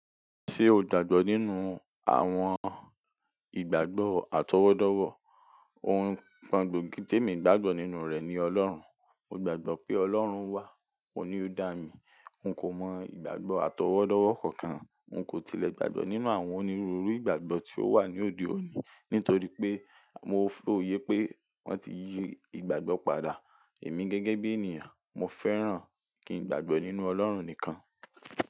Ṣé o gbàgbọ́ nínú àwọn ìgbàgbọ́ àtọwọ́dọ́wọ́? Ohun kan gbogi tí èmi gbàgbọ́ nínú rẹ̀ ni Ọlọ́run. Mo gbàgbọ́ pé Ọlọ́run wà. Óun ni o dá mi. N kò mọ ìgbàgbọ́ àtọwọ́dọ́wọ́ kankan. N kò tilẹ̀ gbàgbọ́ nínú àwọn onírúurú ìgbàgbọ́ tí ó wà ní òde òní nítorí pé mo fòyé pé wọ́n ti yí ìgbàgbọ́ padà. Èmi gẹ́gẹ́ bí ènìyàn, mo fẹ́ràn kí n gbàgbọ́ nínú Ọlọ́run nìkan.